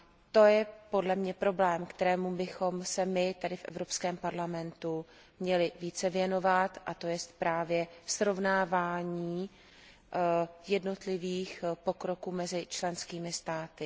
To je podle mne problém, kterému bychom se my tady, v Evropském parlamentu, měli více věnovat a to jest právě srovnávání jednotlivých pokroků mezi členskými státy.